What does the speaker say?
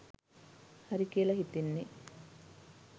හරි කියල හිතෙන්නේ